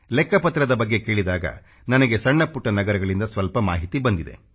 ಲೆಕ್ಕಪತ್ರದ ಬಗ್ಗೆ ಕೇಳಿದಾಗ ನನಗೆ ಸಣ್ಣ ಪುಟ್ಟ ನಗರಗಳಿಂದ ಸ್ವಲ್ಪ ಮಾಹಿತಿ ಬಂದಿದೆ